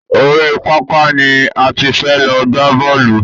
Orí pápá ni a ti fẹ́ lọ gbá bọ́ọ̀lù.